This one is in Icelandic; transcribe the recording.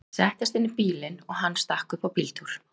Ég settist inn í bílinn og hann stakk upp á bíltúr.